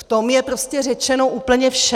V tom je prostě řečeno úplně vše.